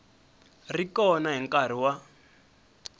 ri kona hi nkarhi wa